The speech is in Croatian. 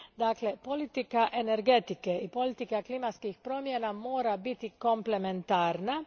Dakle, politika energetike i politika klimatskih promjena mora biti komplementarna.